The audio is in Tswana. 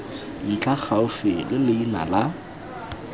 ntlha gaufi le leina la